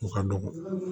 O ka dɔgɔ